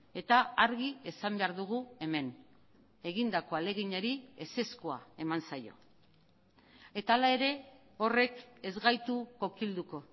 eta argi esan behar dugu hemen egindako ahaleginari ezezkoa eman zaio eta hala ere horrek ez gaitu kokilduko